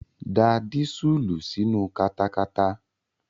Da dísùlù sínu katakata.